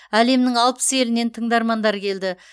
әлемнің алпыс елінен тыңдармандар келді